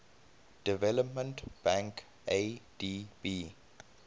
development bank adb